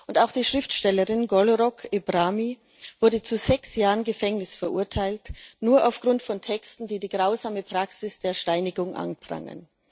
Und auch die Schriftstellerin Golrokh Ebrahmi wurde zu sechs Jahren Gefängnis verurteilt, nur aufgrund von Texten, die die grausame Praxis der Steinigung anprangern.